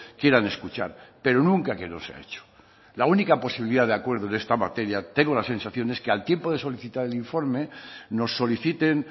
quieran escuchar pero nunca que no se ha hecho la única posibilidad de acuerdo en esta materia tengo la sensación es que al tiempo de solicitar el informe nos soliciten